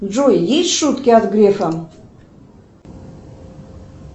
джой есть шутки от грефа